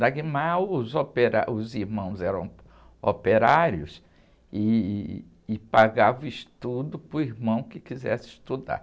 os operá, os irmãos eram operários ih, e pagavam estudo para o irmão que quisesse estudar.